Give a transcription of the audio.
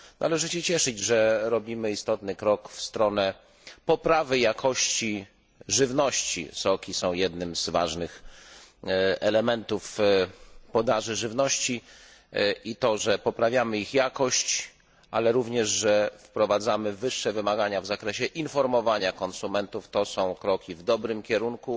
Należy się cieszyć, że robimy istotny krok w stronę poprawy jakości żywności soki są jednym z ważnych elementów podaży żywności i to, że poprawiamy ich jakość, ale również, że wprowadzamy wyższe wymagania w zakresie informowania konsumentów, to są kroki w dobrym kierunku.